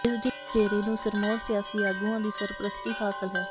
ਇਸ ਡੇਰੇ ਨੂੰ ਸਿਰਮੌਰ ਸਿਆਸੀ ਆਗੂਆਂ ਦੀ ਸਰਪ੍ਰਸਤੀ ਹਾਸਲ ਹੈ